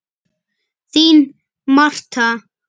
Þín, Martha.